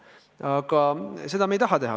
Aga seda me ei taha teha.